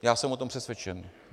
Já jsem o tom přesvědčen.